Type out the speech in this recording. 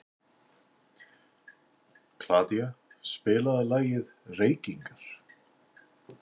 Kládía, spilaðu lagið „Reykingar“.